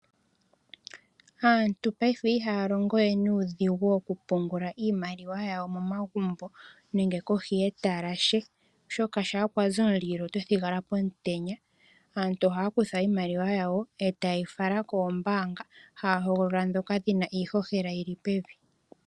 Aantu payife ihaya longo we nuudhigu woku pungula iimaliwa momagumbo nenge kohi yetalashe oshoka shampa kwazi omulilo oto thigala pomutenya . Aantu oha ya kutha iimaliwa yawo eta yeyi fala koombaanga, haya hogolola ndhoka dhina iishoshela yili pevi